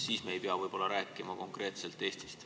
Siis me ei pea rääkima konkreetselt Eestist.